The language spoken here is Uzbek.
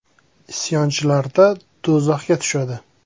“Isyonchilarda do‘zaxga tushadi.